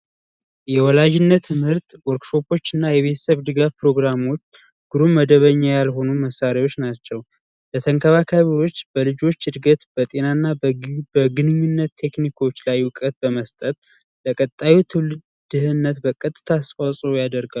የወላጅነት ትምህርትና የቤተሰብ ድጋፍ ፕሮግራሞች ግሩም መደበኛ ያልሆኑ መሳሪያዎች ናቸው የተንከባከቦች በልጆች እድገት በጤና እና በግንኙነት ቴክኒኮች ላይ እውቀት በመስጠት ትውልድነት በቀጥታ ያደርጋል